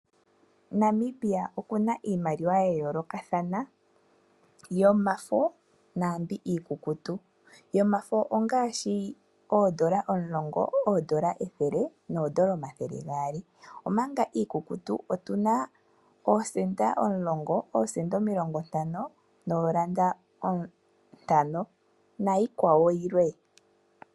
Namibia oku na iimaliwa ya yoolokathana yomafo naambi iikukutu. Yomafo ongaashi, oondola omulongo, oondola ethele noondola omathele gaali, omanga Iikukutu otu na oosenda omulongo, oosenda omilongo ntano, nayikwawo yilwe.